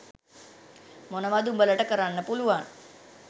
මොනවද උඹලට කරන්න පුළුවන්?